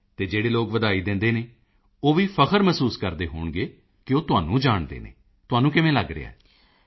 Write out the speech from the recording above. ਅਤੇ ਜਿਹੜੇ ਲੋਕ ਵਧਾਈ ਦਿੰਦੇ ਹਨ ਉਹ ਵੀ ਫ਼ਖਰ ਮਹਿਸੂਸ ਕਰਦੇ ਹੋਣਗੇ ਕਿ ਉਹ ਤੁਹਾਨੂੰ ਜਾਣਦੇ ਹਨ ਤੁਹਾਨੂੰ ਕਿਵੇਂ ਲੱਗ ਰਿਹਾ ਹੈ